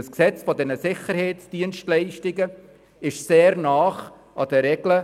Das SDPG ist sehr nahe an den Regeln